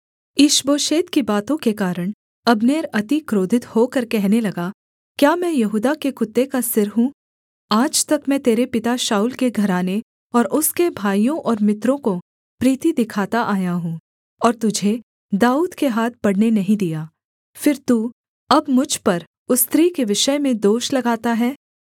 ईशबोशेत की बातों के कारण अब्नेर अति क्रोधित होकर कहने लगा क्या मैं यहूदा के कुत्ते का सिर हूँ आज तक मैं तेरे पिता शाऊल के घराने और उसके भाइयों और मित्रों को प्रीति दिखाता आया हूँ और तुझे दाऊद के हाथ पड़ने नहीं दिया फिर तू अब मुझ पर उस स्त्री के विषय में दोष लगाता है